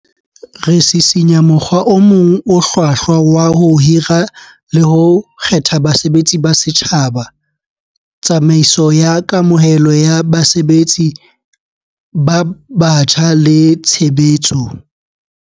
Re sisinya mokgwa o mong o hlwahlwa wa ho hira le ho kgetha basebetsi ba setjhaba, tsamaiso ya kamohelo ya basebetsi ba batjha le tshe betso.